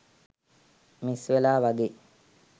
miss වෙලා වගේ